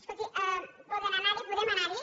escolti poden anar hi podem anar hi